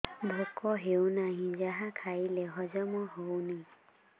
ଭୋକ ହେଉନାହିଁ ଯାହା ଖାଇଲେ ହଜମ ହଉନି